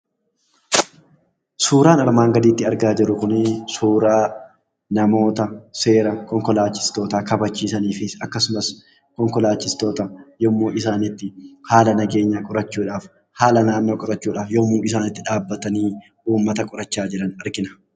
Suuraan armaan gadiitti argaa jirru kuni suuraa namoota seera konkolaachistootaa kabachiisanii fi akkasumas konkolachistoota yommuu isaanitti, haala nageenya qorachuudhaaf, haala naannoo qorachuudhaaf yommuu isaan itti dhaabbatanii, uummata qorachaa jiran argina.